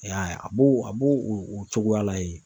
E y'a ye a b'o a b'o o cogoya la yen.